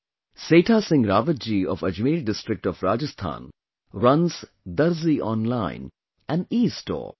Setha Singh Rawat ji of Ajmer district of Rajasthan runs 'Darzi Online', an'Estore'